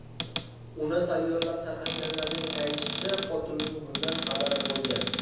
Uni tayyorlab tarqatganlarning aytishicha, hokimning bundan xabari bo‘lgan.